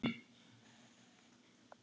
Og svo verður lengi enn.